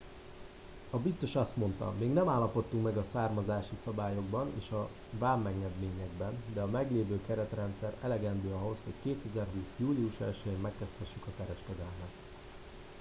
"a biztos azt mondta: "még nem állapodtunk meg a származási szabályokban és a vámengedményekben de a meglévő keretrendszer elegendő ahhoz hogy 2020. július 1-jén megkezdhessük a kereskedelmet"".